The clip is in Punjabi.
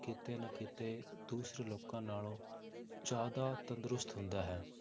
ਕਿਤੇ ਨਾ ਕਿਤੇ ਦੂਸਰੇ ਲੋਕਾਂ ਨਾਲੋਂ ਜ਼ਿਆਦਾ ਤੰਦਰੁਸਤ ਹੁੰਦਾ ਹੈ।